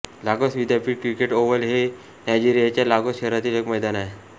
लागोस विद्यापीठ cricket oval हे नायजेरियाच्या लागोस शहरातील एक मैदान आहे